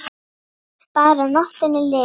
Bara að nóttin liði.